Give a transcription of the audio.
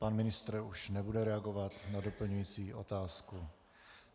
Pan ministr už nebude reagovat na doplňující otázku.